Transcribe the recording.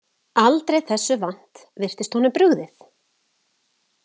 Aldrei þessu vant virtist honum brugðið.